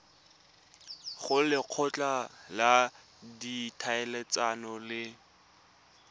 go lekgotla la ditlhaeletsano le